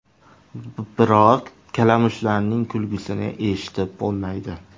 Biroq kalamushlarning kulgisini eshitib bo‘lmaydi.